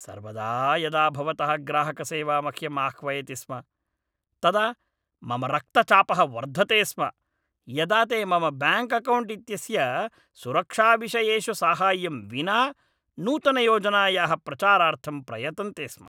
सर्वदा यदा भवतः ग्राहकसेवा मह्यं आह्वयति स्म, तदा मम रक्तचापः वर्धते स्म यदा ते मम ब्याङ्क् अकौण्ट् इत्यस्य सुरक्षाविषयेषु साहाय्यं विना नूतनयोजनायाः प्रचारार्थं प्रयतन्ते स्म।